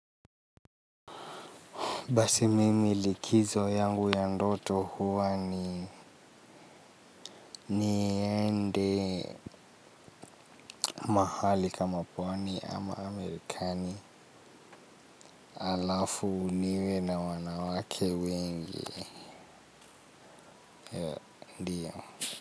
Basi mimi likizo yangu ya ndoto huwa ni niende mahali kama pwani ama amerikani alafu niwe na wanawake wengi.